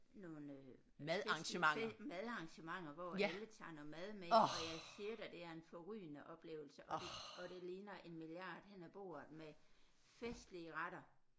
Nogle øh fælles buffet madarrangementer hvor alle tager noget mad med og jeg siger dig det er en forrygende oplevelse og det og det ligner en milliard hen ad bordet med festlige retter